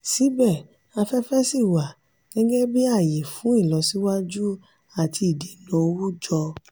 síbẹ̀síbẹ̀ afẹ́fẹ́ ṣì wà gẹ́gẹ́ bí ààyè fún ìlọsíwájú àti ìdènà owó jọ.